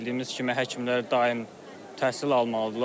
Bildiyimiz kimi həkimlər daim təhsil almalıdırlar.